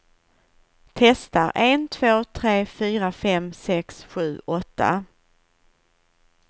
Testar en två tre fyra fem sex sju åtta.